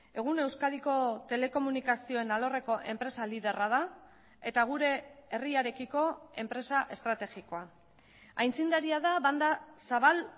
egun euskadiko telekomunikazioen alorreko enpresa liderra da eta gure herriarekiko enpresa estrategikoa aitzindaria da banda zabal